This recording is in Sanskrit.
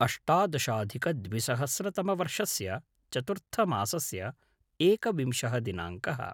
अष्टादशाधिकद्विसहस्रतमवर्षस्य चतुर्थमासस्य एकविंशः दिनाङ्कः